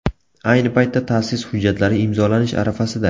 Ayni paytda ta’sis hujjatlari imzolanish arafasida.